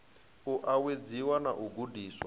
u uwedziwe na u gudiswa